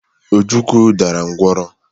Ojukwu dara ngwọrọ.